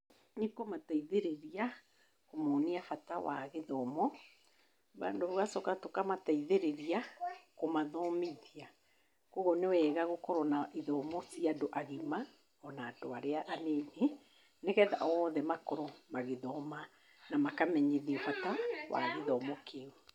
Nĩ kũmateithĩrĩria kũmonia bata wa gĩthomo, bado tũgacoka tũkamateithĩrĩria kũmathomithia. Koguo nĩ wega gũkorwo na ithomo cia andũ agima ona andũ arĩa anini. Nĩgetha othe makorwo magĩthoma na makamenyithio bata wa gĩthomo kĩu.